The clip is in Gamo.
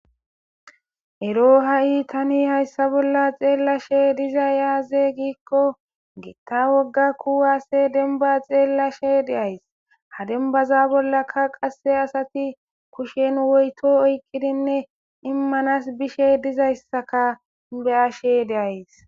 Eroo ha'i tani hayissa bolla xeelashshe dizayi azee gikko Gita woga dennibba xeelashshe de'ayiss.haa dennibaza bolla qase asati kushshenni woyito oyikkidinne immanas bishshe dizayissakka be'ashshe dayis.